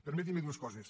permetin me dues coses